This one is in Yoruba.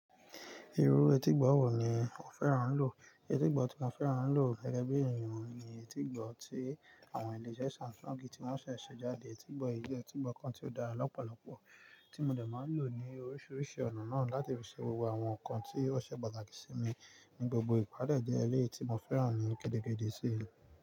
Irú etígbọ̀ wò ni o fẹ́ràn ń lò? Etígbọ̀ tí mo fẹ́ràn ń lò gẹ́gẹ́ bí ènìyàn ni etígbọ̀ tí àwọn ilé-iṣẹ́ Samsung ti wọ́n ṣẹ̀ ṣe jáde. Etígbọ̀ ilé, etígbọ̀ kan tí ó dára lọ́pọ̀lọpọ̀ tí mo lè máa ń lò ní oríṣiríṣi ọ̀nà náà láti fi ṣéwọ́ àwọn nǹkan tí ó ṣe pàtàkì sí mi ní gbogbo ìpàdé jẹ́ eré tí mo fẹ́ràn ní kédékèdé sí i.